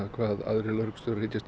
hvað aðrir lögreglustjórar hyggjast